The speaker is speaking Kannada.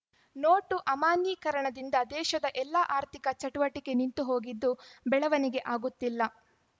ನೋಟು ಅಮಾನ್ಯೀಕರಣದಿಂದ ದೇಶದ ಎಲ್ಲ ಆರ್ಥಿಕ ಚಟುವಟಿಕೆ ನಿಂತು ಹೋಗಿದ್ದು ಬೆಳವಣಿಗೆ ಆಗುತ್ತಿಲ್ಲ